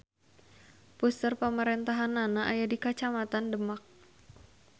Puseur pamarentahannana aya di Kacamatan Demak.